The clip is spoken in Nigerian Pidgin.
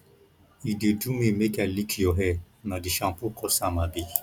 e dey do me make i lick your hair na the shampoo cause am abi